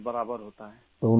ہاں سر ! برابر کرتا ہوں